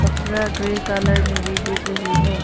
कपरा grey colour में भी दिग रही है।